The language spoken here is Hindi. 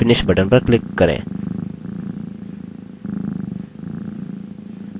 निम्न विंडो में finish बटन पर क्लिक करें